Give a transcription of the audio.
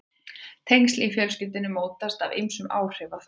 Tengsl í fjölskyldum mótast af ýmsum áhrifaþáttum.